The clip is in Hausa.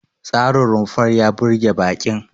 Tsarin rumfar ya burge baƙin.